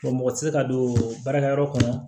mɔgɔ tɛ se ka don baarakɛyɔrɔ kɔnɔ